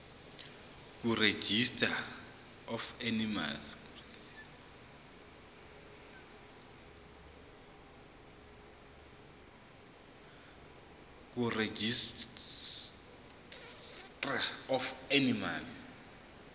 kuregistrar of animals